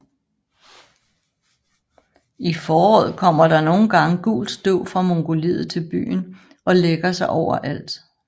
I foråret kommer der nogle gange gult støv fra Mongoliet til byen og lægger sig over alt